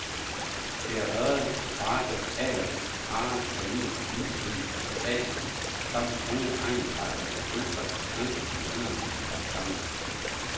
Det er ørred, karpe, agerhøns, hare, kanin, vildsvin og fasaner, samt tunge egnsretter med pølser, kød, bønner kogt sammen.